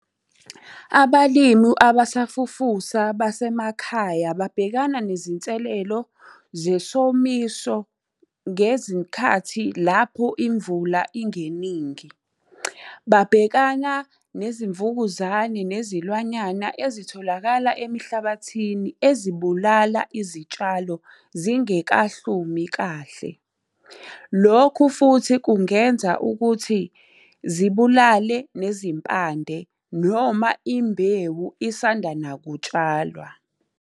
Abalimu abasafufusa basemakhaya babhekana nezinselelo, zesomiso, ngezikhathi lapho imvula ingeningi. Babhekana nezimvukuzane, nezilwanyana ezitholakala emihlabathini ezibulala izitshalo zingekahlumi kahle. Lokhu futhi kungenza ukuthi zibulale nezimpande, noma imbewu isanda nakutshalwa.